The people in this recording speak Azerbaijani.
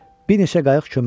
Bir neçə qayıq köməyə gəlir.